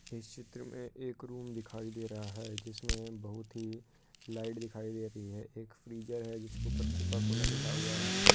इस चित्र में एक रूम दिखाई दे रहा है जिसमें बहुत ही लाइट दिखाई दे रही है एक फ्रीजर है जिसके ऊपर कोका कोला लिखा हुआ है।